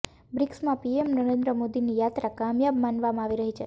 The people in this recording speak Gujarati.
બ્રિક્સમાં પીએમ નરેન્દ્ર મોદીની યાત્રા કામયાબ માનવામાં આવી રહી છે